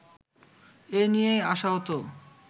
এ নিয়েই আশাহত